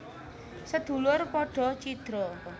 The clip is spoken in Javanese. Sedulur padha cidra